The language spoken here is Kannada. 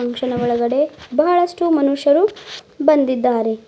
ಫಂಕ್ಷನ್ ಒಳಗಡೆ ಬಹಳಷ್ಟು ಮನುಷ್ಯರು ಬಂದಿದ್ದಾರೆ.